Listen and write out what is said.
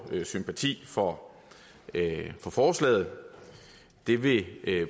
sympati for for forslaget det vil